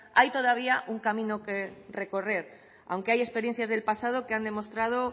hay todavía un camino que recorrer aunque hay experiencias del pasado que han demostrado